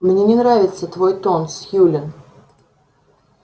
мне не нравится твой тон сьюлин